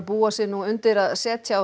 búa sig nú undir að setja á